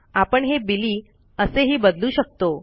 आपण हे बिली असेही बदलू शकतो